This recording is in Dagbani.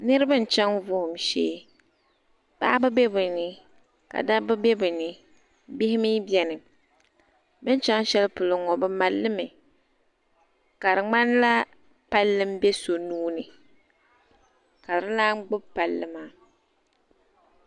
Niribi n chaŋ vuhum shee paɣaba be bɛ ni ka dabba be bɛ ni bihi mi biɛni bin chaŋ shɛli polo ŋɔ bɛ mali limi ka di ŋmanila palli m be so nuuni ka di lan gbubi palli maa.